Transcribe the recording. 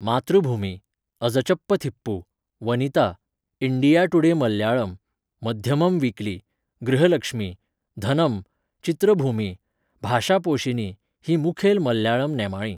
मातृभुमी, Azhchappathippu, Vanitha, India Today Malayalam, Madhyamam weekly, Grihalakshmi, Dhanam, Chithrabhumi, Bhashaposhini हीं मुखेल मल्याळम नेमाळीं.